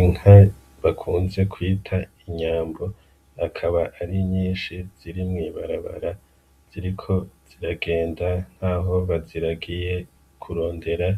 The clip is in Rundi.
Inka bakunze kwita inyambo akaba ari nyinshi ziri mw'ibarabara ziriko ziragenda nkaho baziragiye kurondera